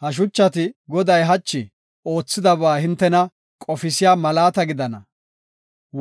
Ha shuchati, Goday hachi oothidaba hintena qofisiya malaata gidana.